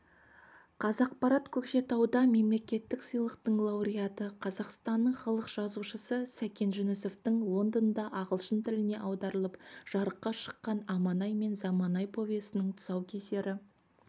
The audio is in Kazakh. қазақпарат көкшетауда мемлекеттік сыйлықтың лауреаты қазақстанның халық жазушысы сәкен жүнісовтің лондонда ағылшын тіліне аударылып жарыққа шыққан аманай мен заманай повесінің тұсаукесері